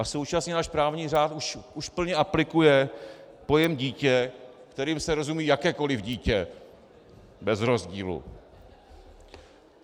A současně náš právní řád už plně aplikuje pojem dítě, kterým se rozumí jakékoliv dítě bez rozdílu.